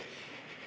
Teeme nii.